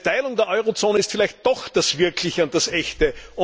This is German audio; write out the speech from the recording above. Eine Teilung der Eurozone ist vielleicht doch das Wirkliche und das Echte.